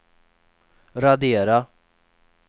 radera